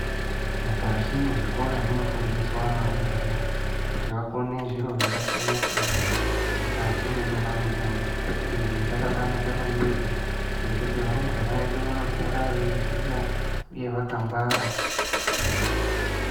Mukati mezvikora munofundiswa varumbwana kuti vakone zviro zvakasiyana siyana mukati mwendaramo yavo izvi zvakabanaka maningi ngekuti varumbwana vedu vanokura veiziva uye vakangwara.